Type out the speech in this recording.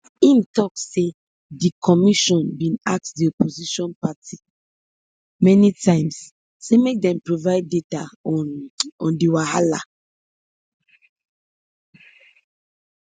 im tok say di commission bin ask di opposition party many times say make dem provide data on on di wahala